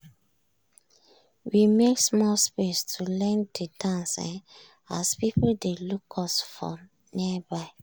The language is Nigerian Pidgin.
we make small space to learn de dance um as people dey look us for nearby.